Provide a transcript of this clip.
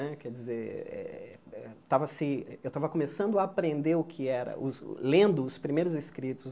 Né quer dizer eh estava se eu estava começando a aprender o que era, lendo os primeiros escritos.